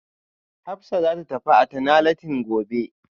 Hafisa zata tafi antenatalin gobe